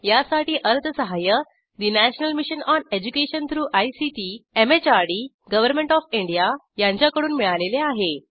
यासाठी अर्थसहाय्य National Mission on Education through ICT MHRD government OF India यांच्याकडून मिळालेले आहे